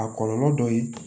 A kɔlɔlɔ dɔ ye